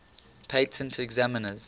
patent examiners